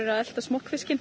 að elta smokkfisk en